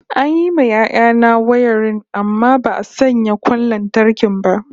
An yi ma yaya na wayarin amma ba'a sanya kwan lantarki ba